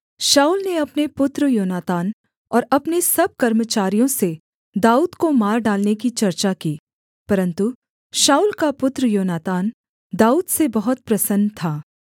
शाऊल ने अपने पुत्र योनातान और अपने सब कर्मचारियों से दाऊद को मार डालने की चर्चा की परन्तु शाऊल का पुत्र योनातान दाऊद से बहुत प्रसन्न था